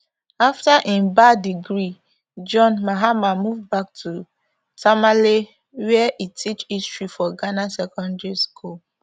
afta im ba degree john mahama move back to tamale wia e teach history for ghana secondary school